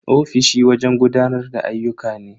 Ofishi wajen gudanar da ayyuka ne.